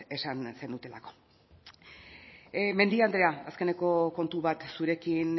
esan zenutelako mendia andrea azkeneko kontu bat zurekin